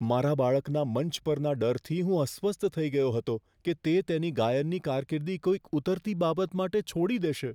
મારા બાળકના મંચ પરના ડરથી હું અસ્વસ્થ થઈ ગયો હતો કે તે તેની ગાયનની કારકિર્દી કોઈક ઉતરતી બાબત માટે છોડી દેશે.